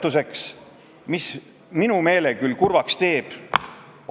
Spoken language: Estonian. Meil on siin ruumi vaid ühele keelele ning see on inglise keel.